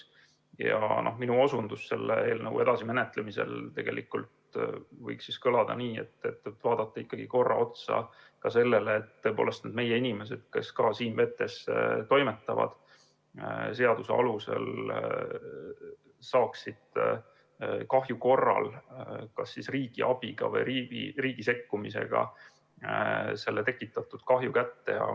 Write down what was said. Minu soovitus selle eelnõu edasisel menetlemisel võiks kõlada nii, et vaadata korra otsa ka sellele, et meie inimesed, kes siin vetes toimetavad, saaksid kahju korral seaduse alusel kas riigi abiga või riigi sekkumisega tekitatud kahju hüvitise kätte.